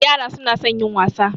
Yara su na son yin wasa